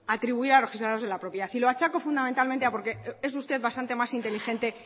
atribuir a los registradores de la propiedad y lo achaco fundamentalmente porque es usted bastante más inteligente